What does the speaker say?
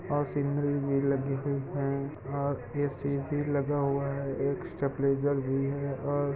और सीनरी भी लगी है और ऐ_सी भी लगा हुआ हैं एक स्टेबलाइजर भी हैं और --